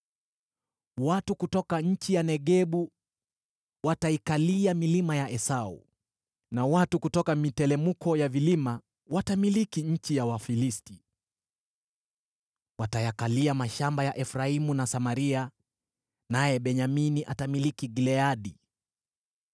Watu kutoka nchi ya Negebu wataikalia milima ya Esau, na watu kutoka miteremko ya vilima watamiliki nchi ya Wafilisti. Watayakalia mashamba ya Efraimu na Samaria, naye Benyamini atamiliki Gileadi.